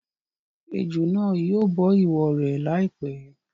Ejò náà yìí bọ ìwọ rẹ lai pẹ̀.